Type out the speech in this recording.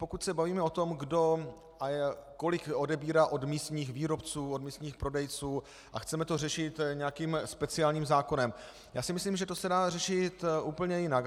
Pokud se bavíme o tom, kdo a kolik odebírá od místních výrobců, od místních prodejců, a chceme to řešit nějakým speciálním zákonem, já si myslím, že to se dá řešit úplně jinak.